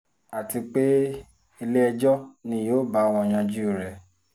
àti pé ilé-ẹjọ́ ni yóò báwọn yanjú rẹ̀